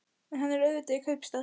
En hann er auðvitað í kaupstað.